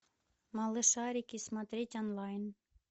малышарики смотреть онлайн